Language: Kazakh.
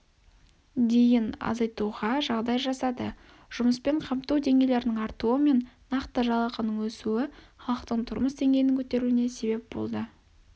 дейін азайтуға жағдай жасады жұмыспен қамту деңгейлерінің артуы мен нақты жалақының өсуі халықтың тұрмыс деңгейінің көтерілуіне себеп болды